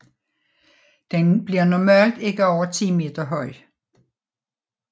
Den bliver normalt ikke over 10 meter høj